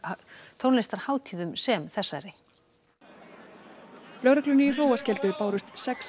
tónlistarhátíðum sem þessari lögreglunni í Hróarskeldu bárust sex